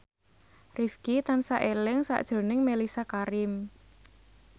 Rifqi tansah eling sakjroning Mellisa Karim